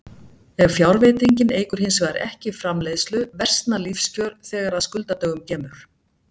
Ef fjárfestingin eykur hins vegar ekki framleiðslu versna lífskjör þegar að skuldadögum kemur.